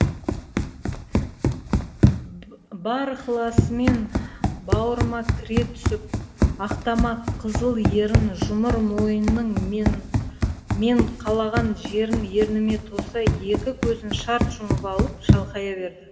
бар ықыласымен бауырыма кіре түсіп ақтамақ қызыл ерін жұмыр мойнының мен қалаған жерін ерніме тоса екі көзін шарт жұмып алып шалқая берді